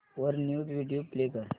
वर news video play कर